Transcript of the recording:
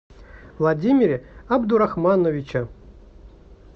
владимире абдурахмановиче